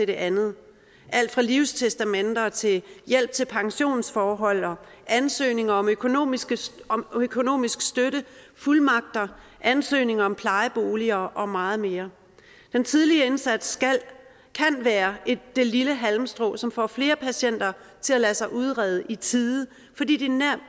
det andet alt fra livstestamenter til hjælp til pensionsforhold og ansøgning om økonomisk om økonomisk støtte fuldmagter ansøgninger om plejeboliger og meget mere den tidlige indsats kan være det lille halmstrå som får flere patienter til at lade sig udrede i tide fordi de